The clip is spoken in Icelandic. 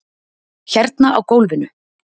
Hérna á gólfinu.